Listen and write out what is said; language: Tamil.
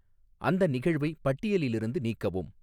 அந்த நிகழ்வை பட்டியலிலிருந்து நீக்கவும்